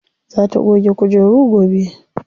Za ta goge kujeru gobe.